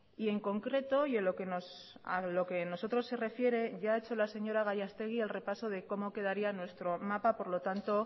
y en concreto y en lo que a nosotros se refiere ya ha hecho la señora gallastegui el repaso de cómo quedaría nuestro mapa por lo tanto